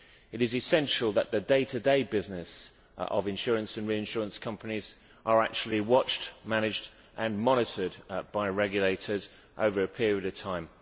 It is essential that the day to day business of insurance and reinsurance companies is actually watched, managed and monitored by regulators over a period of time.